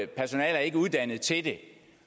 personale er ikke uddannet til det